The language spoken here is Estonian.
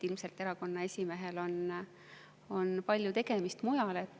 Ilmselt erakonna esimehel on palju tegemist mujal.